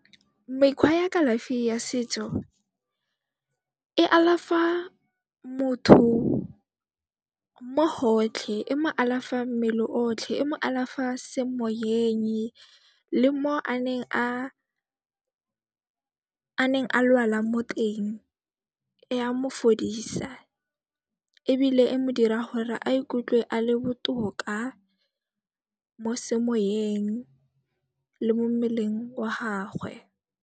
Mekgwa ya kalafi ya setso e alafa motho mo gotlhe. E mo alafa mmele otlhe, e mo alafa semoyeng le mo aneng a, a neng a lwala mo teng, e a mo fodisa ebile e mo dira gore a ikutlwe a le botoka mo semoyeng le mo mmeleng wa gagwe.